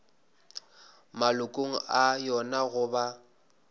malokong a yona go ba